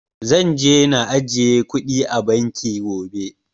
Zan je na ajiye kuɗi a banki gobe